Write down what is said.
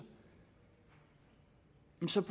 som